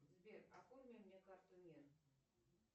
сбер оформи мне карту мир